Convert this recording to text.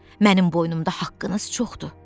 Mənim boynumda haqqınız çoxdur.